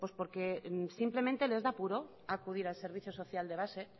porque simplemente les da apuro acudir al servicio social de base